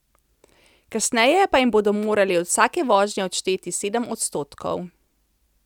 Kasneje pa jim bodo morali od vsake vožnje odšteti sedem odstotkov.